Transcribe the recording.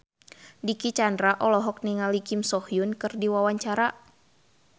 Dicky Chandra olohok ningali Kim So Hyun keur diwawancara